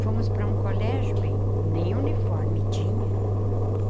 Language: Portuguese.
Fomos para um colégio, bem, nem uniforme tinha.